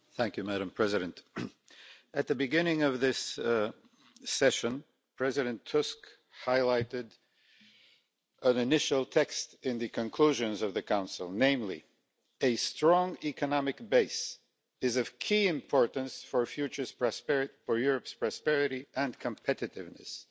Madam President, at the beginning of this session, President Tusk highlighted an initial text in the conclusions of the Council, namely a strong economic base is of key importance for Europe's prosperity and competitiveness'.